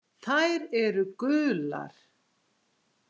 Þær eru gular.